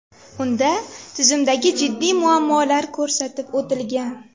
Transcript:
Unda tizimdagi jiddiy muammolar ko‘rsatib o‘tilgan .